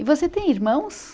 E você tem irmãos?